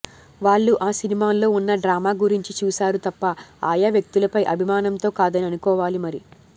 వాళ్లు ఆ సినిమాల్లో ఉన్న డ్రామా గురించి చూశారు తప్ప ఆ యా వ్యక్తులపై అభిమానంతో కాదని అనుకోవాలి మరి